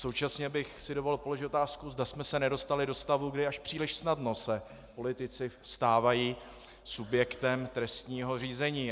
Současně bych si dovolil položit otázku, zda jsme se nedostali do stavu, kdy až příliš snadno se politici stávají subjektem trestního řízení.